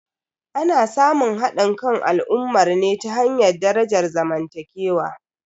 Ana samun hadin kan al'ummar ne ta hanyar darajar zamantakewa.